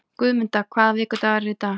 Guðmunda, hvaða vikudagur er í dag?